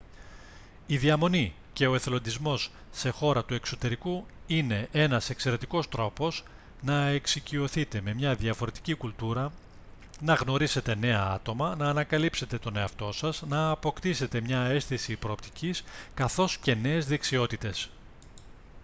η διαμονή και ο εθελοντισμός σε χώρα του εξωτερικού είναι ένας εξαιρετικός τρόπος να εξοικειωθείτε με μια διαφορετική κουλτούρα να γνωρίσετε νέα άτομα να ανακαλύψετε τον εαυτό σας να αποκτήσετε μια αίσθηση προοπτικής καθώς και νέες δεξιότητες